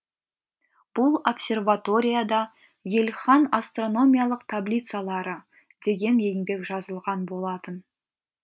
бұл обсерваторияда ельхан астрономиялық таблицалары деген еңбек жазылған болатын